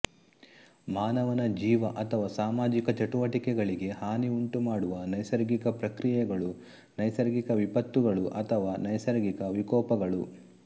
ಮಾನವನ ಜೀವ ಅಥವಾ ಸಾಮಾಜಿಕ ಚಟುವಟಿಕೆಗಳಿಗೆ ಹಾನಿ ಉಂಟುಮಾಡುವ ನೈಸರ್ಗಿಕ ಪ್ರಕ್ರಿಯೆಗಳು ನೈಸರ್ಗಿಕ ವಿಪತ್ತುಗಳು ಅಥವಾ ನೈಸರ್ಗಿಕ ವಿಕೋಪಗಳು